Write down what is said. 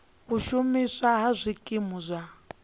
u shumiswa ha zwikimu zwa